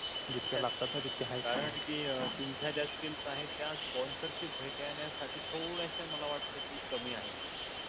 कारण आहे कि तुमच्या ज्या skills आहे त्या sponcership भेठन्या साटी थोडासा मला वाटतंय कि कमी आहे.